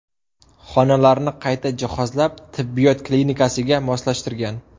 Xonalarni qayta jihozlab, tibbiyot klinikasiga moslashtirgan.